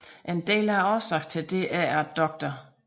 En del af årsagen til det er at Dr